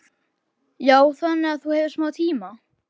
Hugrún: Já, þannig að þú hefur smá tíma?